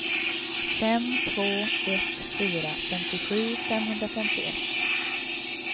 fem två ett fyra femtiosju femhundrafemtioett